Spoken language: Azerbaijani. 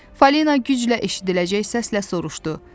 Falena güclə eşidiləcək səslə soruşdu: